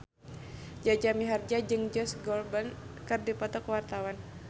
Jaja Mihardja jeung Josh Groban keur dipoto ku wartawan